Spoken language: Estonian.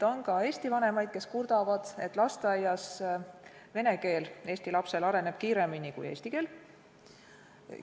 On ka eesti vanemaid, kes kurdavad, et lasteaias areneb eest lapsel vene keele oskus kiiremini kui emakeele oskus.